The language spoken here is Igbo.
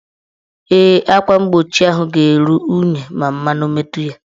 Ee, akwa mgbochi ahụ ga-eru unyi ma mmanụ metu ya.